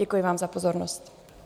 Děkuji vám za pozornost.